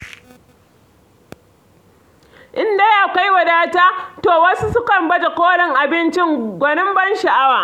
In dai akwai wadata, to wasu sukan baje-kolin abinci, gwanin ban sha'awa.